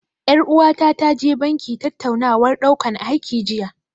Ƴar uwata ta je banki tattaunawar ɗaukan aiki jiya.